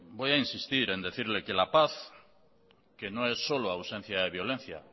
voy a insistir en decirle que la paz que no es solo ausencia de violencia